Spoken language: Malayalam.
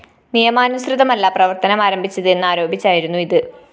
നിയമാനുസൃതമല്ല പ്രവര്‍ത്തനമാരംഭിച്ചത് എന്നരോപിച്ചായിരുന്നു ഇത്